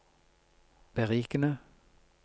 berikende